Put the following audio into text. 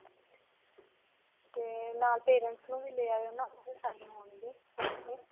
ਤੇ ਨਾਲ parents ਨੂੰ ਵੀ ਲੇ ਆਇਓ .